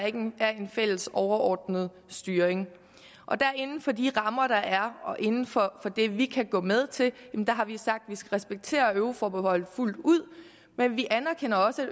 ikke have en fælles overordnet styring inden for de rammer der er og inden for det vi kan gå med til har vi sagt at vi skal respektere euroforbeholdet fuldt ud men vi anerkender også